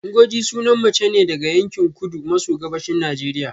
Ngozi sunan mace ne daga yankin kudu maso gabashin Najeriya